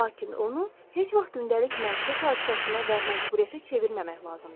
Lakin onu heç vaxt gündəlik məişət hadisəsinə və məcburiyyətə çevirməmək lazımdır.